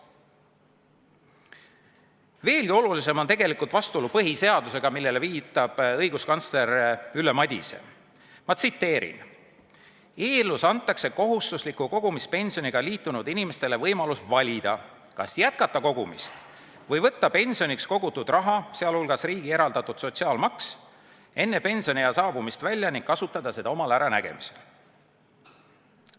Veelgi olulisem on tegelikult vastuolu põhiseadusega, millele viitab õiguskantsler Ülle Madise: "Eelnõus antakse kohustusliku kogumispensioniga liitunud inimestele võimalus valida, kas jätkata kogumist või võtta pensioniks kogutud raha enne pensioniea saabumist välja ning kasutada seda omal äranägemisel.